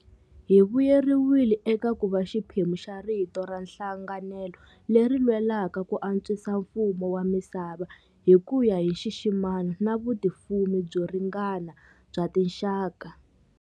Hi vuyeriwile eka ku va xiphemu xa rito ra nhlanganelo leri lwelaka ku antswisa mfumo wa misava hi ku ya hi nxiximano na vutifumi byo ringana bya tinxaka.